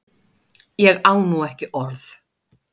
Ég á nú ekki orð!